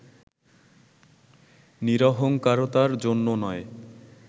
নিরহঙ্কারতার জন্যও নয়